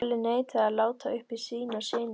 Kalli neitaði að láta uppi sínar sýnir.